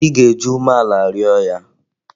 Ị ga-eji umeala rịọ ya!